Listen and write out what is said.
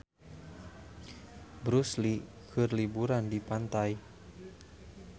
Bruce Lee keur liburan di pantai